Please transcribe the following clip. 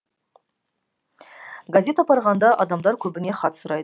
газет апарғанда адамдар көбіне хат сұрайды